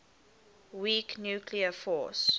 weak nuclear force